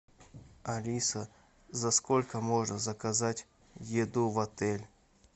алиса за сколько можно заказать еду в отель